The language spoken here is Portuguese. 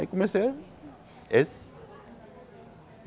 Aí comecei a esse.